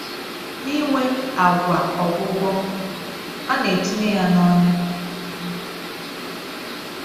N’inwe àgwà ọgwụgwọ, a na-etinye ya n’ọnya.